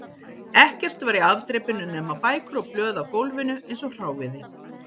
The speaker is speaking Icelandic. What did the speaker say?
Ekkert var í afdrepinu nema bækur og blöð á gólfinu eins og hráviði